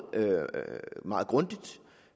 meget grundigt og